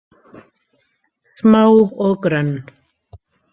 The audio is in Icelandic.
Smá og grönn.